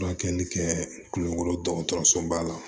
Furakɛli kɛ kulonkoro dɔgɔtɔrɔso ba la